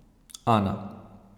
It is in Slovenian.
Ana.